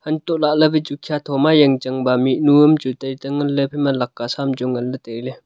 antohlahley wai chu khiya thoma jangchang ba mihnu am chu tai tang nganley haphaima laka saam chu nganla tailey.